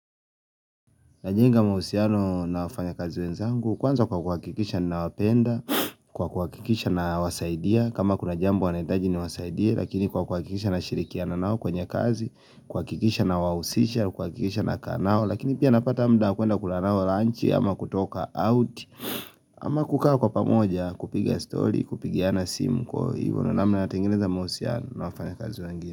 Najenga mausiano na wafanya kazi wenzangu, kwanza kwa kuwakikisha na wapenda, kwa kuwakikisha na wasaidia, kama kuna jambo wanahitaji ni wasaidia, lakini kwa kuwakikisha na shirikiana nao kwenye kazi, kwa kuwakikisha na wawusisha, kwa kuwakikisha na kanao, lakini pia napata muda kuenda kula nao lunchi, ama kutoka out, ama kukawa kwa pamoja kupiga story, kupigiana simu kwa hivyo namna natengeneza mahusiano na wafanya kazi wengine.